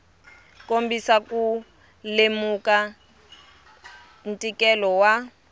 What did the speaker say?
kombisa ku lemuka ntikelo wa